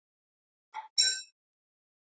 Þar eru fjórar íbúðir.